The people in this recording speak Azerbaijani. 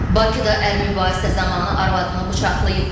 Bakıda əri mübahisə zamanı arvadını bıçaqlayıb.